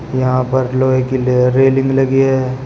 यहां पर लोहे के लिए रेलिंग लगी है।